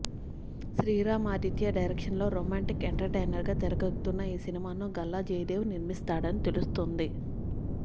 Sriram Aditya direction లో romantic entertainer గా తెరకెక్కనున్న ఈ సినిమాను గల్లా జయదేవ్ నిర్మిస్తాడని తెలుస్తుంది